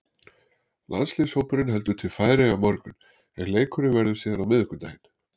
Landsliðshópurinn heldur til Færeyja á morgun en leikurinn verður síðan á miðvikudaginn.